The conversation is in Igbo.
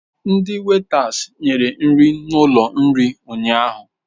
Ndi wetas nyere nri n'ụlọ nri ụnyaahụ.